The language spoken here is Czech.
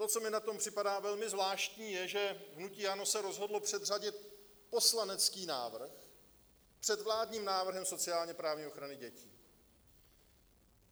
To, co mi na tom připadá velmi zvláštní, je, že hnutí ANO se rozhodlo předřadit poslanecký návrh před vládním návrhem sociálně-právní ochrany dětí.